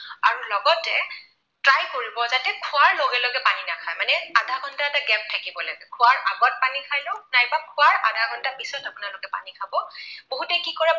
আধা ঘণ্টা এটা gap থাকিব লাগে। খোৱাৰ আগত পানী খাই লওঁক, নাইবা খোৱাৰ আধা ঘণ্টা পিছত আপোনালোকে পানী খাব। বহুতে কি কৰে